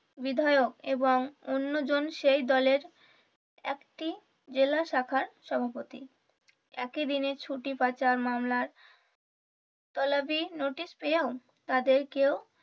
বিধায়ক এবং অন্য জন সেই দলের একটি জেলা শাখার সভাপতি, একই দিনে ছুটি পাচার মামলার তলাবি notice পেয়েও তাদেও কেও